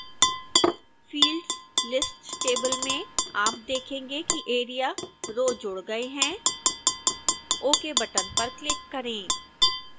fields list table में आप देखेंगे कि area रो जुड़ गए है ok बटन पर क्लिक करें